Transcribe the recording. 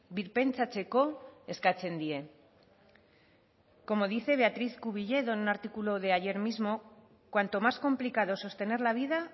birpentsatzeko eskatzen die como dice beatriz cubilledo en un artículo de ayer mismo cuanto más complicado es sostener la vida